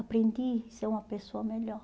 Aprendi a ser uma pessoa melhor.